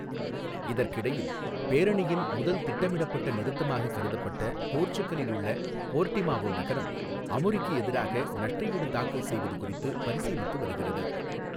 இதற்கிடையில், பேரணியின் முதல் திட்டமிடப்பட்ட நிறுத்தமாக கருதப்பட்ட போர்ச்சுகலில் உள்ள போர்டிமாவோ நகரம், அமுரிக்கு எதிராக நஷ்டஈடு தாக்கல் செய்வது குறித்து பரிசீலித்து வருகிறது.